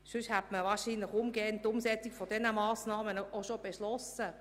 Sonst hätte man wahrscheinlich bereits die Umsetzung dieser Massnahmen beschlossen.